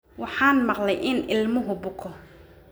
Waxaan maqlay in ilmuhu buko